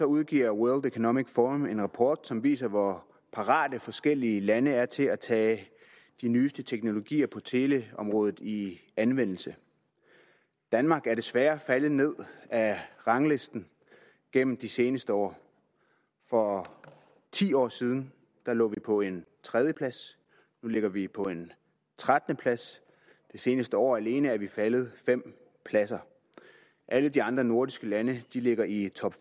udgiver world economic forum en rapport som viser hvor parate forskellige lande er til at tage de nyeste teknologier på teleområdet i anvendelse danmark er desværre faldet ned ad ranglisten gennem de seneste år for ti år siden lå vi på en tredjeplads nu ligger vi på en trettende plads det seneste år alene er vi faldet fem pladser alle de andre nordiske lande ligger i top